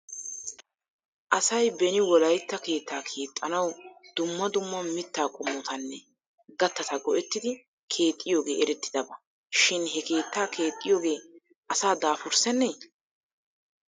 Asay beni wolaytta keettaa keexxanaw dumma dumma mittaa qommotanne gattata go'ettidi keexxiyoogee erettidaba shin he keettaa keexxiyoogee asaa daafursennee ?